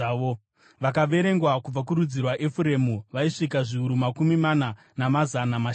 Vakaverengwa kubva kurudzi rwaEfuremu vaisvika zviuru makumi mana, namazana mashanu.